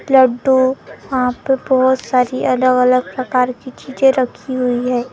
लड्डू वहां पे बहुत सारी अलग अलग प्रकार के चीजे रखी हुई है वहां।